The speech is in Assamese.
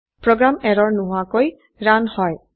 প্ৰোগ্ৰাম এৰৰ নোহোৱাকৈ ৰান হয়